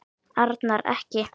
Arnar. ekki!